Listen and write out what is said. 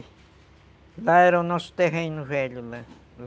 Lá era o nosso terreno velho, lá.